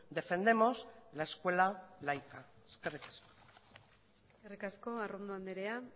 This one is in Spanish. defendemos la escuela laica eskerrik asko eskerrik asko arrondo andrea